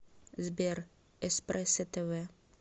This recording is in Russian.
сбер эспрессо тэ вэ